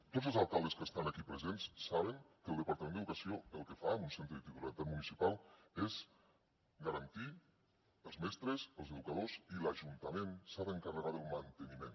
tots els alcaldes que estan aquí presents saben que el departament d’educació el que fa en un centre de titularitat municipal és garantir els mestres i els educadors i l’ajuntament s’ha d’encarregar del manteniment